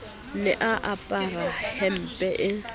ne a apara hempe e